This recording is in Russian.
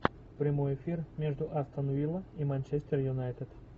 прямой эфир между астон вилла и манчестер юнайтед